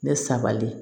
Ne sabali